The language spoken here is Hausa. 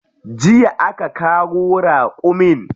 Jiya aka kawo raƙumin.